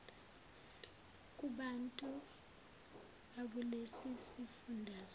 kubantu bakulesi sifundazwe